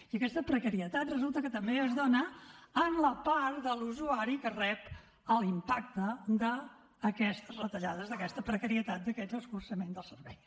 i aquesta precarietat resulta que també es dona en la part de l’usuari que rep l’impacte d’aquestes retallades d’aquesta precarietat d’aquests escurçaments dels serveis